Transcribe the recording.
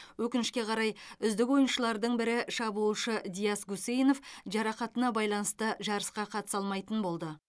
өкінішке қарай үздік ойыншылардың бірі шабуылшы диас гусейнов жарақатына байланысты жарысқа қатыса алмайтын болды